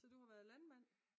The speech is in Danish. Så du har været landmand?